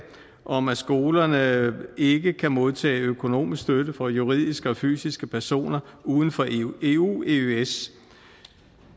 om at skolerne ikke kan modtage økonomisk støtte fra juridiske og fysiske personer uden for eu og eøs